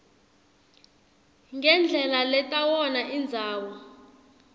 ngendlela letawona indzawo